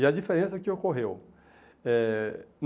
E a diferença é que ocorreu. Eh